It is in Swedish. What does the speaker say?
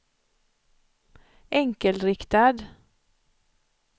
enkelriktad